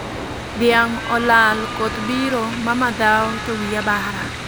Dhiang' olal, koth biro, mama dhao , to wiya bara